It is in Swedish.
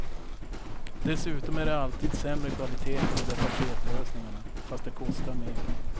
Dessutom är det alltid sämre kvalitet på de där paketlösningarna, fast de kostar mer.